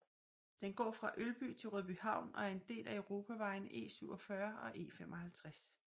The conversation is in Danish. Den går fra Ølby til Rødbyhavn og er en del af europavejene E47 og E55